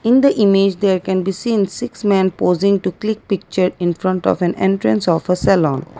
in the image there can be seen six man pausing to click picture infront of a entrance of a saloon.